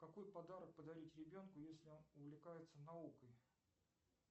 какой подарок подарить ребенку если он увлекается наукой